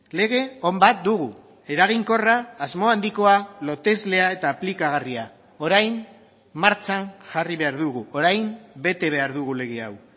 lege on bat dugu eraginkorra asmo handikoa loteslea eta aplikagarria orain martxan jarri behar dugu orain bete behar dugu lege hau